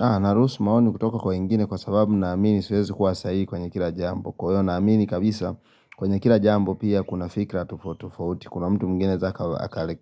Aaaah naruhusi maoni kutoka kwa wengine kwa sababu na amini siwezi kuwa sahihi kwenye kila jambo kwa hiyo na amini kabisa kwenye kila jambo pia kuna fikra tofauti tofauti, kuna mtu mwingine za